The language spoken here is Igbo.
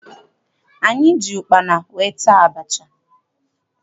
Anyị ji ụkpana wee taa abacha.